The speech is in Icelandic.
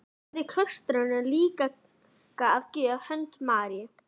Hann færði klaustrinu líka að gjöf hönd Maríu